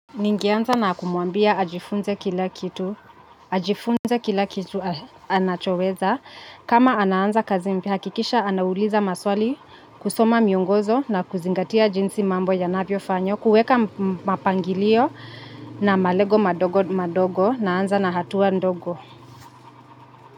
Ningeanza na kumwambia ajifunze kila kitu anachoweza, kama anaanza kazi mpya akikisha anauliza maswali kusoma miongozo na kuzingatia jinsi mambo yanavyofanywa, kuweka mapangilio na malego madogo madogo, naanza na hatua ndogo.